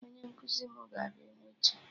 Onye nkụzi mụ ga-abịa echi